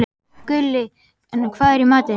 Gulli, hvað er í matinn?